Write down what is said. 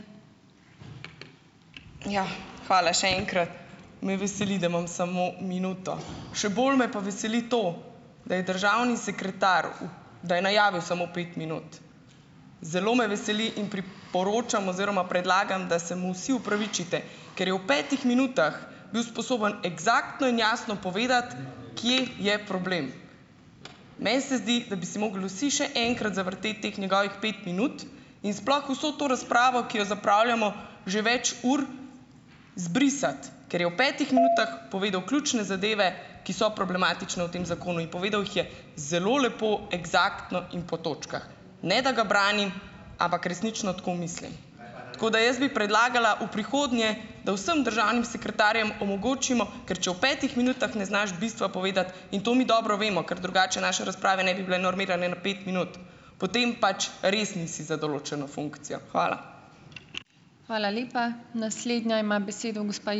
Ja, hvala še enkrat. Me veseli, da imam samo minuto. Še bolj me pa veseli to, da je državni sekretar u, da je najavil samo pet minut. Zelo me veseli in priporočam oziroma predlagam, da se mu vsi opravičite. Ker je v petih minutah bil sposoben eksaktno in jasno povedati, kje je problem. Meni se zdi, da bi si mogli vsi še enkrat zavrteti teh njegovih pet minut in sploh vso to razpravo, ki jo zapravljamo že več ur, izbrisati. Ker je v petih minutah povedal ključne zadeve, ki so problematične v tem zakonu. In povedal jih je zelo lepo, eksaktno in po točkah. Ne, da ga branim, ampak resnično tako mislim. Tako da jaz bi predlagala v prihodnje, da vsem državnim sekretarjem omogočimo, ker če v petih minutah ne znaš bistva povedati, in to mi dobro vemo, ker drugače naše razprave ne bi bile normirane na pet minut, potem pač res nisi za določeno funkcijo. Hvala.